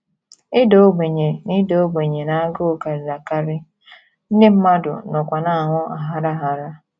Ịda ogbenye na Ịda ogbenye na agụụ karịrị akarị, ndị mmadụ nọkwa na - anwụ aghara aghara.